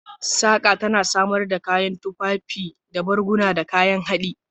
Saƙa tana samar da tufafi, barguna, da kayan haɗi.